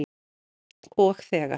Og þegar